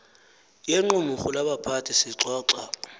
yequmrhu labaphathi sixoxa